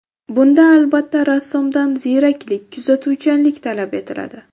Bunda, albatta, rassomdan ziyraklik, kuzatuvchanlik talab etiladi.